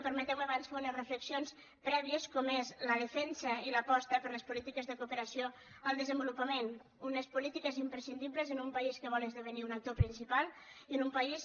permeteu me abans fer unes reflexions prèvies com és la defensa i l’aposta per les polítiques de cooperació al desenvolupament unes polítiques imprescindibles en un país que vol esdevenir un actor principal i en un país